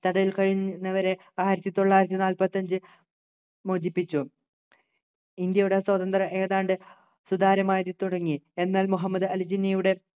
തടവിൽ കഴിയുന്നവരെ ആയിരത്തിത്തൊള്ളായിരത്തിനാല്പത്തിഅഞ്ചു മോചിപ്പിച്ചു ഇന്ത്യയുടെ സ്വതന്ത്ര ഏതാണ്ട് സുതാര്യമായി തുടങ്ങി എന്നാൽ മുഹമ്മദ് അലി ജിന്നയുടെ